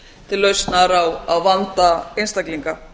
til lausnar á vanda einstaklinga